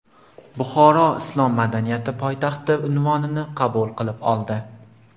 Buxoro Islom madaniyati poytaxti unvonini qabul qilib oldi.